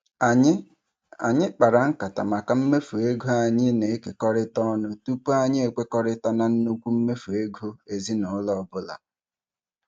Anyị Anyị kpara nkata maka mmefu ego anyị na-ekekọrịta ọnụ tụpụ anyị ekwekọrịta na nnukwu mmefu ego ezinaụlọ ọbụla.